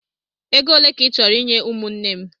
Ego ole ka ị chọrọ inye ụmụnne m?